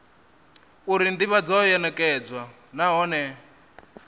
uri ndivhadzo yo nekedzwa nahone